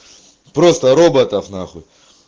просто роботов нахуй